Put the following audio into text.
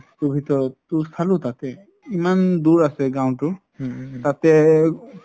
ট ভিতৰত ট চালো তাতেই ইমান দুৰ আছে গাওঁতো তাতে..